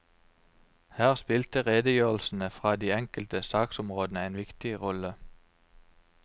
Her spilte redgjørelsene fra de enkelte saksområdene en viktig rolle.